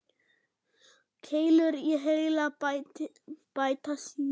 Keilur í heila bæta sjón.